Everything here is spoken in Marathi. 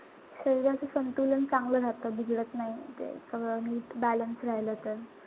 शरीराचं संतुलन चांगलं राहत. बिघडत नाई. सगळं नीट balance राहील तर.